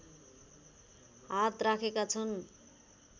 हात राखेका छन्